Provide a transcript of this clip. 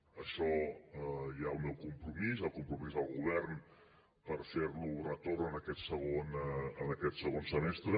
d’això hi ha el meu compromís hi ha el compromís del govern per fer el retorn en aquest segon semestre